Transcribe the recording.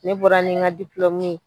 Ne bɔra ni ŋa ye